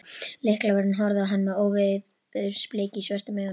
Lyklavörðurinn horfði á hann með óveðursbliku í svörtum augunum.